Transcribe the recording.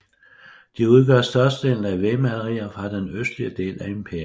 De udgør størstedelen af vægmalerier fra den østlige del af imperiet